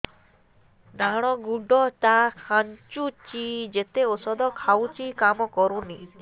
ଡାହାଣ ଗୁଡ଼ ଟା ଖାନ୍ଚୁଚି ଯେତେ ଉଷ୍ଧ ଖାଉଛି କାମ କରୁନି